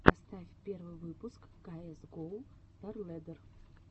поставь первый выпуск каэс гоу старлэддер